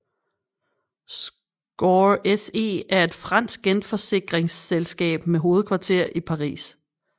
Scor SE er et fransk genforsikringsselskab med hovedkvarter i Paris